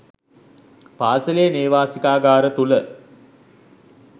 පාසලේ නේවාසිකාගාර තුළ.